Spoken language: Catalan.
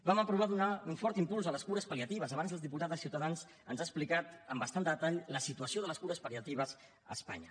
vam aprovar donar un fort impuls a les cures pal·liatives abans el diputat de ciutadans ens ha explicat amb bastant detall la situació de les cures pal·liatives a espanya